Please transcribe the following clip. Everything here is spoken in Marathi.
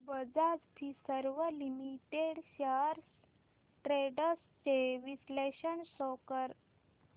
Bajaj Finserv limited shares trends चे विश्लेषण शो कर